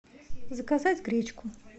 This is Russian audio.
заказать гречку